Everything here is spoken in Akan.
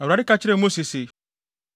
Awurade ka kyerɛɛ Mose se,